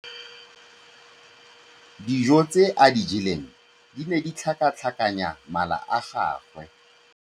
Dijô tse a di jeleng di ne di tlhakatlhakanya mala a gagwe.